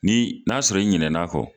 Ni n'a sɔrɔ i ɲinɛn'a fɔ